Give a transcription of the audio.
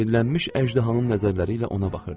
Sehirlənmiş əjdahanın nəzərləri ilə ona baxırdı.